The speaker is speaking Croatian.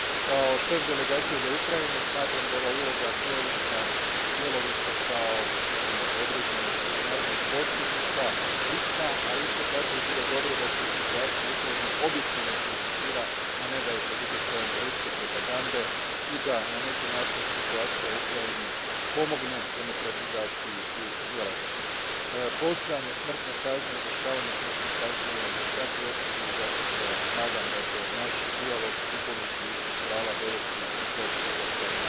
Kao šef Delegacije za Ukrajinu, smatram da je ova svojevrsna uloga Bjelarusa kao određenog međunarodnog posrednika bitna, ali isto tako bi bilo dobro da se i situacija u Ukrajini objektivno prezentira, a ne da je pod utjecajem ruske propagande i da na neki način situacija u Ukrajini pomogne demokratizaciji u Bjelarusu. Postojanje smrtne kazne, izvršavanje smrtne kazne je za svaku osudu i zato se nadam da će naš dijalog u području ljudskih prava dovesti i do prihvaćanja